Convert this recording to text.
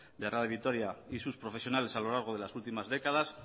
de radio vitoria y sus profesionales a lo largo de las últimas décadas